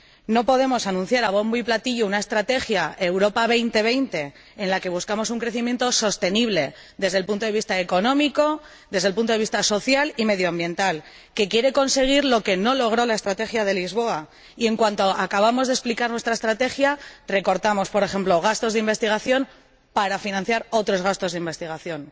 No podemos anunciar a bombo y platillo una Estrategia Europa 2020, en la que buscamos un crecimiento sostenible desde el punto de vista económico, desde el punto de vista social y medioambiental, que quiere conseguir lo que no logró la Estrategia de Lisboa, y, en cuanto acabamos de explicar la Estrategia, recortamos, por ejemplo, gastos de investigación para financiar otros gastos de investigación.